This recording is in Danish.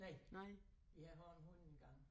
Næ vi har haft en hund engang